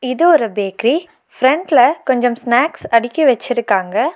இது ஒரு பேக்ரி ஃபிரண்ட்ல கொஞ்சம் ஸ்நாக்ஸ் அடுக்கி வச்சிருக்காங்க.